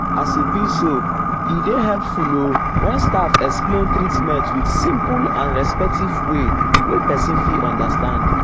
as e be so e dey helpful o when staff explain treatment with simple and respectful way wey person fit understand.